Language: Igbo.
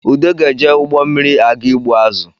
Ude ga-eje ụgbọ mmiri aga ịgbụ azụ